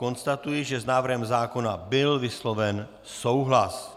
Konstatuji, že s návrhem zákona byl vysloven souhlas.